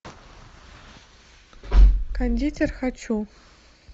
кондитер хочу